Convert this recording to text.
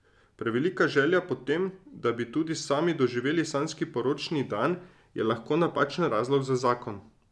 Prevelika želja po tem, da bi tudi sami doživeli sanjski poročni dan, je lahko napačen razlog za zakon.